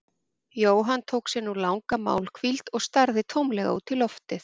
Jóhann tók sér nú langa málhvíld og starði tómlega út í loftið.